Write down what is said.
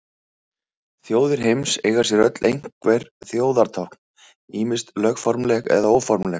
Þjóðir heims eiga sér öll einhver þjóðartákn, ýmist lögformleg eða óformleg.